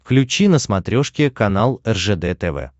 включи на смотрешке канал ржд тв